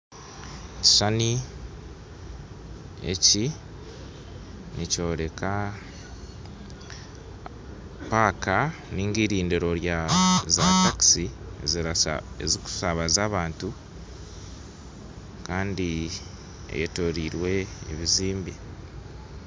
Ekishushani eki nikyoreka paka ninga irindiro rya za takiisi ezirikushabaza abantu Kandi eyetoroirwe ebizimbe.